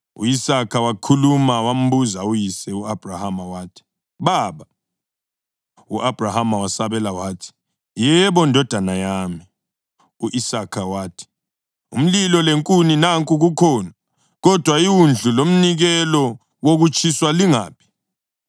u-Isaka wakhuluma wambuza uyise u-Abhrahama wathi, “Baba?” U-Abhrahama wasabela wathi, “Yebo, ndodana yami!” U-Isaka wathi, “Umlilo lenkuni nanku kukhona, kodwa iwundlu lomnikelo wokutshiswa lingaphi?”